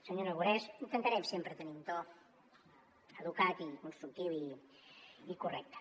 senyor aragonès intentarem sempre tenir un to educat i constructiu i correcte